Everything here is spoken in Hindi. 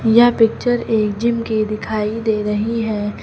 यह पिक्चर एक जिम की दिखाई दे रही है।